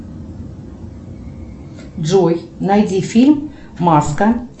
джой найди фильм маска